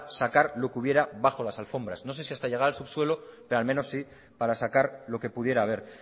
sacar lo que hubiera bajo las alfombras no sé si hasta llegar al subsuelo pero al menos sí para sacar lo que pudiera haber